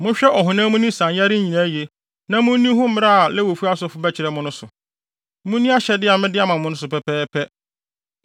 Monhwɛ ɔhonam ani nsanyare nyinaa yiye na munni ho mmara a Lewifo asɔfo bɛkyerɛ mo no so. Munni ahyɛde a mede ama wɔn no so pɛpɛɛpɛ.